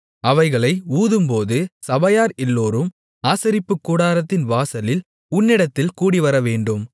அவைகளை ஊதும்போது சபையார் எல்லோரும் ஆசரிப்புக்கூடாரத்தின் வாசலில் உன்னிடத்தில் கூடிவரவேண்டும்